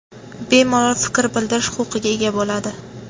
bemalol fikr bildirish huquqiga ega bo‘ladi.